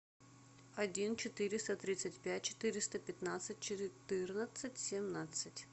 один четыреста тридцать пять четыреста пятнадцать четырнадцать семнадцать